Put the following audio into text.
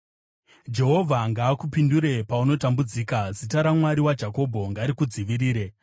Jehovha ngaakupindure paunotambudzika; zita raMwari waJakobho ngarikudzivirire.